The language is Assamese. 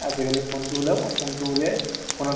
তুমি চাবা । তোমাক কʼলে কিন্তু interest তো হেৰাই যাব